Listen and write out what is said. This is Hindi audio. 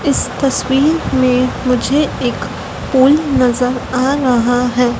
इस तस्वीर में मुझे एक पुल नजर आ रहा है।